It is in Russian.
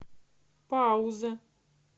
пауза